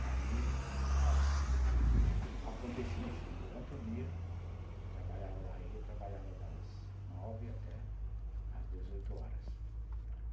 Daí, acontecia assim, durante o dia, trabalhava, aí eu trabalhava das nove até às dezoito horas.